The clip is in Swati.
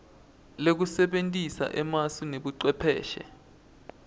lekusebentisa emasu nebucwepheshe